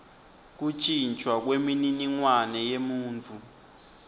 kuntjintjwa kwemininingwane yemuntfu